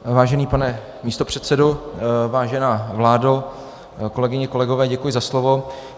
Vážený pane místopředsedo, vážená vládo, kolegyně, kolegové, děkuji za slovo.